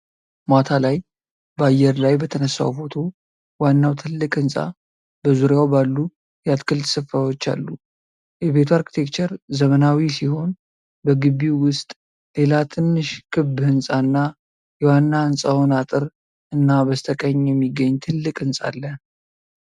ማታ ላይ ከአየር ላይ በተነሳው ፎቶ ዋናው ትልቅ ህንፃ በዙሪያው ባሉ የአትክልት ስፍራዎች አሉ። የቤቱ አርክቴክቸር ዘመናዊ ሲሆን፣ በግቢው ውስጥ ሌላ ትንሽ ክብ ህንፃ እና የዋና ህንፃውን አጥር እና በስተቀኝ የሚገኝ ትልቅ ህንፃ አለ።